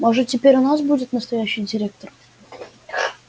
может теперь у нас будет настоящий директор